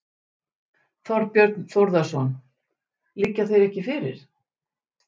Þorbjörn Þórðarson: Liggja þeir ekki fyrir?